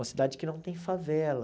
Uma cidade que não tem favela.